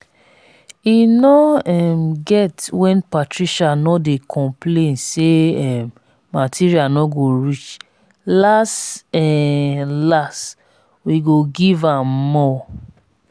e no um get when patricia no dey complain say um material no go reach las um las we go give am more